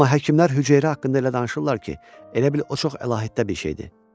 Amma həkimlər hüceyrə haqqında elə danışırlar ki, elə bil o çox əlahiddə bir şeydir.